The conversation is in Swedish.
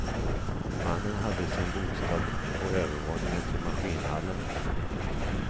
Mannen hade sin bostad på övervåningen till maskinhallen.